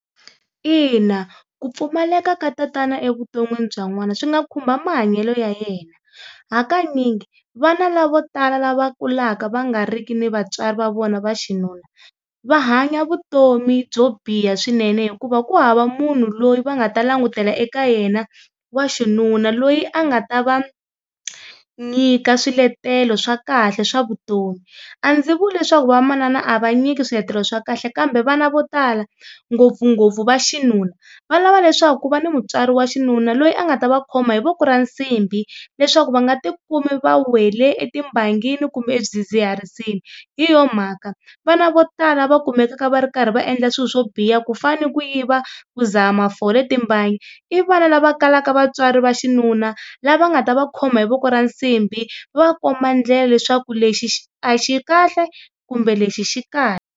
Ina, ku pfumaleka ka tatana evuton'wini bya n'wana swi nga khumba mahanyelo ya yena. Hakanyingi vana lavo tala lava kulaka va nga ri ki ni vatswari va vona va xinuna va hanya vutomi byo biha swinene hikuva ku hava munhu loyi va nga ta langutela eka yena wa xinuna loyi a nga ta va nyika swiletelo swa kahle swa vutomi. A ndzi vuli leswaku va manana a va nyiki swiletelo swa kahle kambe vana vo tala ngopfungopfu va xinuna va lava leswaku ku va ni mutswari wa xinuna loyi a nga ta va khoma hi voko ra nsimbhi leswaku va nga tikumi va wele etimbangini kumbe eswidzidziharisini, hi yo mhaka vana vo tala va kumekaka va ri karhi va endla swilo swo biha ku fane ku yiva ku dzaha mafole, timbangi, i vana lava kalaka vatswari va xinuna lava nga ta va khoma hi voko ra nsimbhi va va komba ndlela leswaku lexi a xi kahle kumbe lexi xi kahle.